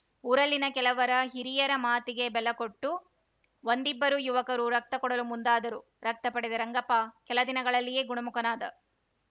ಊರಲ್ಲಿನ ಕೆಲವರ ಹಿರಿಯರ ಮಾತಿಗೆ ಬೆಲೆ ಕೊಟ್ಟು ಒಂದಿಬ್ಬರು ಯುವಕರು ರಕ್ತ ಕೊಡಲು ಮುಂದಾದರು ರಕ್ತ ಪಡೆದ ರಂಗಪ್ಪ ಕೆಲ ದಿನಗಳಲ್ಲಿಯೇ ಗುಣಮುಖನಾದ